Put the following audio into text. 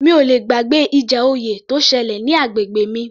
Mi ò le gbàgbé ìjà oyè tó ṣẹlẹ̀ ní agbègbè mi